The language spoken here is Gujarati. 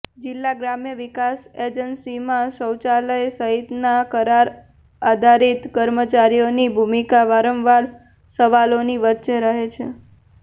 જીલ્લા ગ્રામ વિકાસ એજન્સીમાં શૌચાલય સહિતના કરાર આધારિત કર્મચારીઓની ભુમિકા વારંવાર સવાલોની વચ્ચે રહે છે